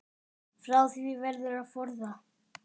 Frá því verður að forða.